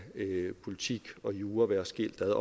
politik og jura være skilt ad